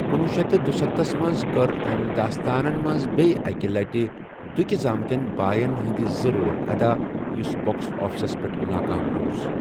کنوہ شیتھ تہٕ دُستَتھُس منٛز کٔر أمہِ 'داستانن منٛز بیٚیہِ اَکہِ لٹہِ دُكہِ زامتین بایَن ہِنٛدِ زٕ رول اَدا یۄس باکس آفِسس پیٹھ ناکام روٗز۔